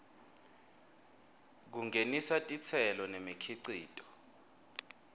kungenisa titselo nemikhicito